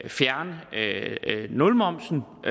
fjerne nulmomsen og